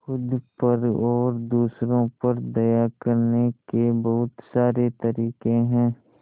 खुद पर और दूसरों पर दया करने के बहुत सारे तरीके हैं